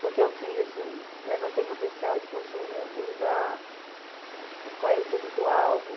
Porque eu fiz assim, levantei potencial de consumo do lugar, qual era o público-alvo.